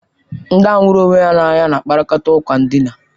Ndị ahụ hụrụ onwe ha n'anya na-akparịta ụka ndịna.